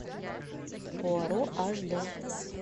пуаро аш д